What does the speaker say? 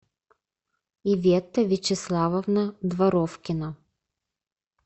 иветта вячеславовна дворовкина